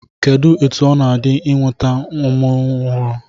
Kedụ etu ọ na-adị nwata a mụrụ ọhụụ?